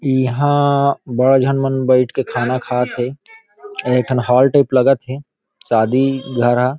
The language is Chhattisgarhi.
यहाँ बड़ झन मन बैठ के खाना खात थे अऊ एक ठन हॉल टाइप लगत थे शादी घर हा।